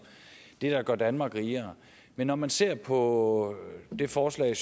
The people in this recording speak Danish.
det der gør danmark rigere men når man ser på det forslag